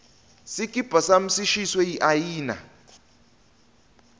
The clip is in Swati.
sikipa sami sishiswe yiayina